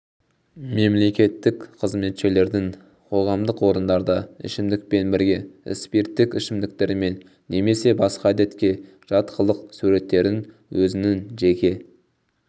мемлекеттік қызметшілердің қоғамдық орындарда ішімдікпен бірге спирттік ішімдіктермен немесе басқа әдетке жат қылық суреттерін өзінің жеке